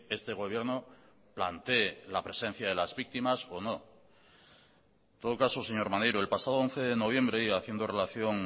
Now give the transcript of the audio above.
este gobierno plantee la presencia de las víctimas o no en todo caso señor maneiro el pasado once de noviembre y haciendo relación